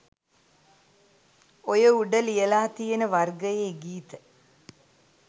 ඔය උඩ ලියලා තියෙන වර්ගයේ ගීත